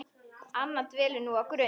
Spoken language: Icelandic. Anna dvelur nú á Grund.